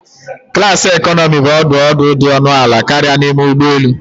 Klasi economi bụ ọdụ ọdụ dị ọnụ ala karịa n'ime ụgbọ elu